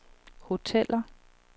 hoteller